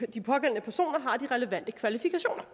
de pågældende personer har de relevante kvalifikationer